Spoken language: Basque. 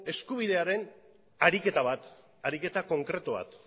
eskubidearen ariketa bat ariketa konkretu bat